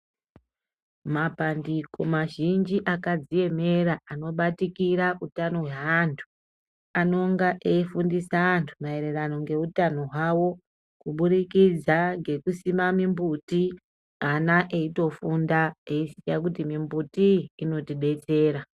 Mapandiko mazhinji akadziemera anobatikira utano hweanthu, anonga eifundisa antu maererano ngeutano hwavo, kubudirikidza ngekusima mimbuti ,ana eitofunda eiziya kuti iyi mimbutiyi inotidetsera.